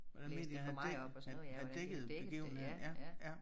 Blæst det for meget op og sådan noget ja hvordan dækkede det ja ja